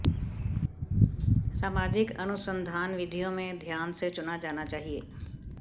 सामाजिक अनुसंधान विधियों में ध्यान से चुना जाना चाहिए